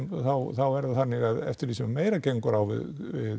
og þá er það þannig að eftir því sem meira gengur á við